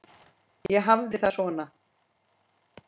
Ég hafði það svona.